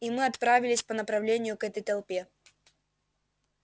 и мы отправились по направлению к этой толпе